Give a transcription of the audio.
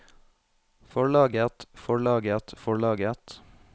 forlaget forlaget forlaget